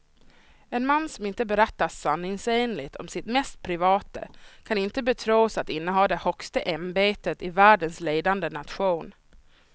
En man som inte berättar sanningsenligt om sitt mest privata kan inte betros att inneha det högsta ämbetet i världens ledande nation.